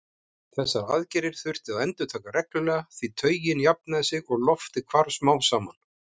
Þessar aðgerðir þurfti að endurtaka reglulega því taugin jafnaði sig og loftið hvarf smám saman.